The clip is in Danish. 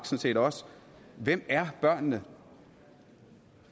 set også hvem er børnene